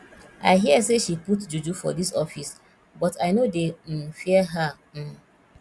i hear say she put juju for dis office but i no dey um fear her um